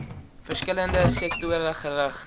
verskillende sektore gerig